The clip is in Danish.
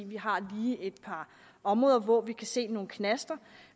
vi har lige et par områder hvor vi kan se nogle knaster